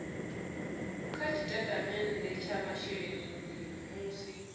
kha tshitatamennde tsha masheleni musi